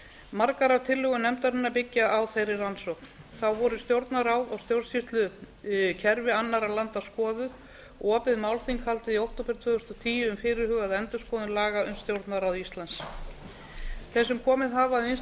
margar af tillögum nefndarinnar byggja á þeirri rannsókn þá voru stjórnarráð og stjórnsýslukerfi annarra landa skoðuð og opið málþing haldið í október tvö þúsund og tíu um fyrirhugaða endurskoðun laga um stjórnarráð íslands þeir sem komið hafa að vinnslu